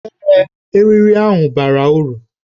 Ee, eriri ahụ bara uru